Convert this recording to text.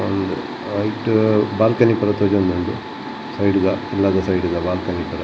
ಐಟ್ ಬಾಲ್ಕನಿ ಪೂರ ತೋಜೊಂದು ಉಂಡು ಸೈಡ್ ದ ಉಳ್ಳಾಜ ಸೈಡ್ ದ ಬಾಲ್ಕನಿ ಇತ್ತುಂಡತ್ತ.